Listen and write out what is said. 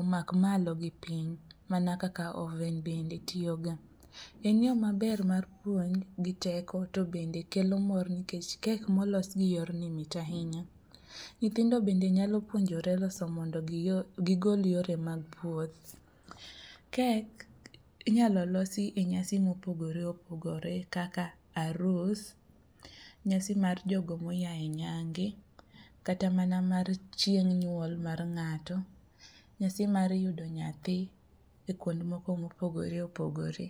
omak malo gi piny mana kaka oven bende tiyoga. En yo maber mar puonj gi teko o bende kelo mor nikech kek molos gi yorni mit ahinya, nyithindo bende nyalo puonjore loso mondo gigol yore mag puoth. Kek inyalo losi e nyasi mopogore opogore kaka arus, nyasi mar jogo moya e nyange kata mana mar chieng' nyuol mar ng'ato, nyasi mar yudo nyathi e kuond moko mopogore opogore.